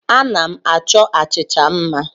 Ana m achọ achịcha mma.